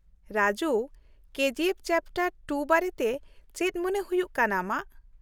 Raju, K G F chapter ᱒ ᱵᱟᱨᱮᱛᱮ ᱪᱮᱫ ᱢᱚᱱᱮ ᱦᱩᱭᱩᱜ ᱠᱟᱱᱟ ᱟᱢᱟᱜ ?